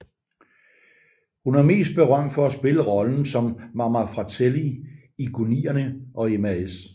Hun er mest berømt for at spille rollen som Mama Fratelli i Goonierne og Mrs